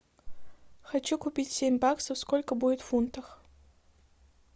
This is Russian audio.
хочу купить семь баксов сколько будет в фунтах